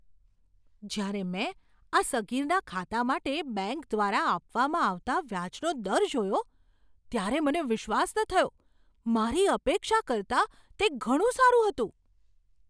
જ્યારે મેં આ સગીરના ખાતા માટે બેંક દ્વારા આપવામાં આવતા વ્યાજનો દર જોયો ત્યારે મને વિશ્વાસ ન થયો! મારી અપેક્ષા કરતાં તે ઘણું સારું હતું.